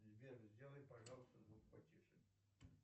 сбер сделай пожалуйста звук потише